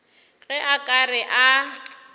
ge a ka re a